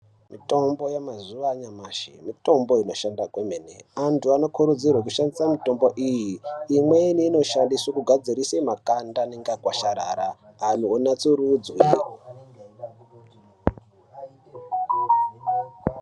Mitombo yamazuva anyamashi mitombo inoshanda kwemene antu vanokurudzirwe kushandisa mitombo iyi. Imweni inoshandiswe kugadzirise makanda anenge akakwasharara antu onatsurudzwe.